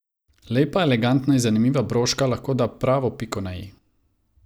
Lepa, elegantna in zanimiva broška lahko da pravo piko na i.